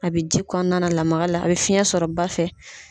A bɛ ji kɔɔna la lamaga la, a bɛ fiɲɛ sɔrɔ ba fɛ.